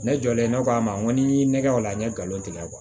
Ne jɔlen ne ko a ma n ko n'i ye nɛgɛ o la n ye nkalon tigɛ